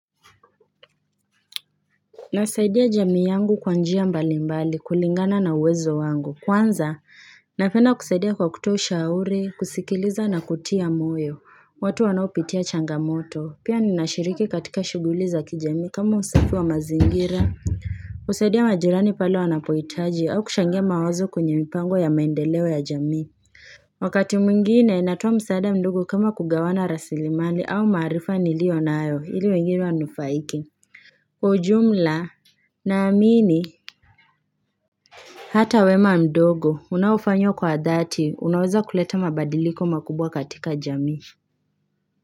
Nasaidia jamii yangu kwa njia mbali mbali kulingana na uwezo wangu kwanza napenda kusaidia kwa kutoa ushauri kusikiliza na kutia moyo watu wanaopitia changamoto pia ninashiriki katika shuguli za kijamii kama usafi wa mazingira kusaidia majirani pale wanapohitaji au kuchangia mawazo kwenye mipango ya maendeleo ya jamii Wakati mwingine natoa msaada mdogo kama kugawana rasilimali au maarifa niliyo nayo ili wengine wanufaike ujumla na amini, hata wema mdogo, unaofanywa kwa dhati, unaweza kuleta mabadiliko makubwa katika jami.